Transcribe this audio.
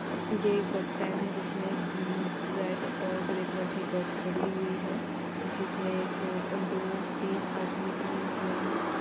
ये एक bus stand है जिसमे उम्म रेड और ग्रे कलर की बस खड़ी हुई है जिसमे एक दो तीन आदमी खड़े हुए है।